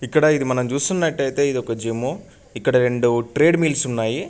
ఇక్కడ ఇది మనం చూస్తున్నట్టయితే ఇది ఒక జిమ్ము . ఇక్కడ రెండు ట్రేడ్ మిల్స్ ఉన్నాయి.